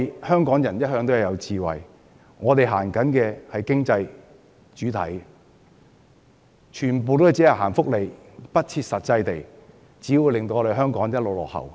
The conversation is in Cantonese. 香港人一向擁有智慧，並以經濟為先，如果只顧推行福利，不切實際，只會令香港一直落後。